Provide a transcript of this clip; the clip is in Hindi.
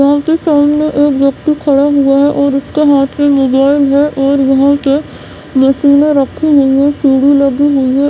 एक ही स्टाइल में एक ही फ्रेम है और उसके हाथ में मोबाइल है के मशीने रखी गई हैं सीढ़ी लगी हुई है।